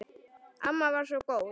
Amma var svo góð.